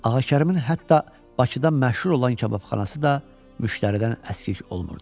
Ağakərimin hətta Bakıda məşhur olan kababxanası da müştəridən əskik olmurdu.